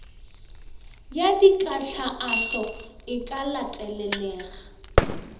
ya dikahlaahlo e ka latelelega